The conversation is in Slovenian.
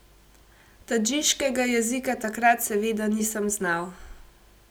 Tadžiškega jezika takrat seveda nisem znal.